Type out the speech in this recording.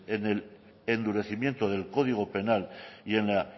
en el endurecimiento del código penal y en la